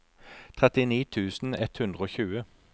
trettini tusen ett hundre og tjue